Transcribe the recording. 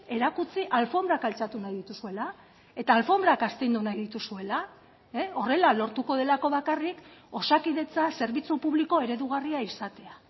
erakutsi alfonbrak altxatu nahi dituzuela eta alfonbrak astindu nahi dituzuela horrela lortuko delako bakarrik osakidetza zerbitzu publiko eredugarria izatea